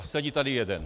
A sedí tady jeden.